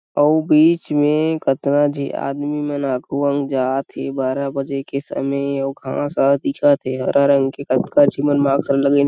अउ बिच में कतना जी आदमी मन कुवन जात थे बारा बजे के समय और घास ह दिखत थे हरा रंग के